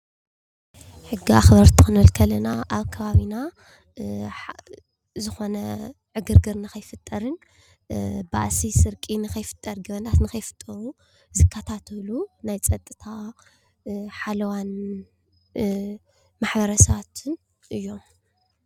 ሕጊ ኣኽበርቲ ክንብል እተለና ኣብ ከባቢና ዝኾነ ዕግርግር ከይፍጠርን፣ ባእሲ፣ ስርቂ ከይፍጠርን፣ ገበናት ንከይፍጠርን ዝከታተሉ ናይ ፀጥታን ሓለዋን ማሕበረሰባትን እዮም።